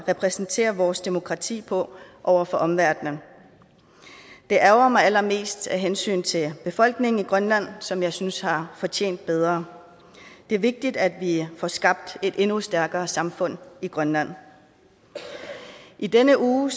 at præsentere vores demokrati på over for omverdenen det ærgrer mig allermest af hensyn til befolkningen i grønland som jeg synes har fortjent bedre det er vigtigt at vi får skabt et endnu stærkere samfund i grønland i denne uge